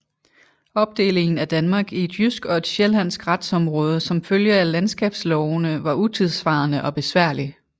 Opdelingen af Danmark i et jysk og et sjællandsk retsområde som følge af landskabslovene var utidssvarende og besværlig